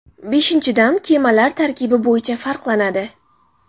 Beshinchidan, kemalar tarkibi bo‘yicha farqlanadi.